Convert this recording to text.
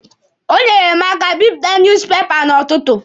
O nyeere mụ aka bipụta nuuz pepa n'ọtụtụ.